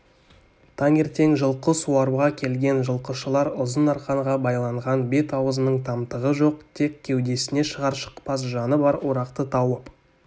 таңертең жылқы суаруға келген жылқышылар ұзын арқанға байланған бет-аузының тамтығы жоқ тек кеудесінде шығар-шықпас жаны бар орақты тауып